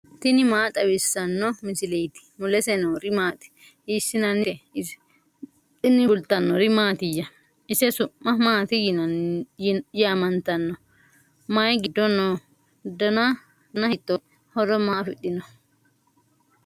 tini maa xawissanno misileeti ? mulese noori maati ? hiissinannite ise ? tini kultannori mattiya? ise su'ma maatti yaamanttanno? Mayi giddo noo? danna hiittotte? horo maa afidhinno?